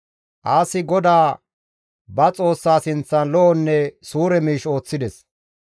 Aasi GODAA ba Xoossaa sinththan lo7onne suure miish ooththides.